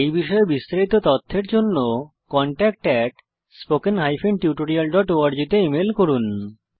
এই বিষয়ে বিস্তারিত তথ্যের জন্য কনট্যাক্ট spoken tutorialorg তে ইমেল করুন